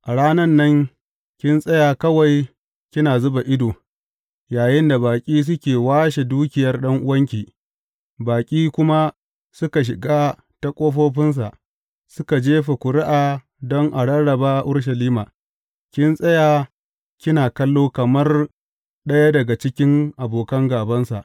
A ranan nan kin tsaya kawai kina zuba ido yayinda baƙi suke washe dukiyar ɗan’uwanki, baƙi kuma suka shiga ta ƙofofinsa suka jefa ƙuri’a don a rarraba Urushalima, kin tsaya kina kallo kamar ɗaya daga cikin abokan gābansa.